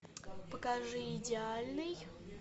покажи идеальный